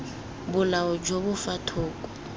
bolao jo bo fa thoko